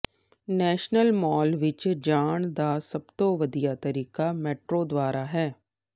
national Mall ਵਿਚ ਜਾਣ ਦਾ ਸਭ ਤੋਂ ਵਧੀਆ ਤਰੀਕਾ ਮੈਟਰੋ ਦੁਆਰਾ ਹੈ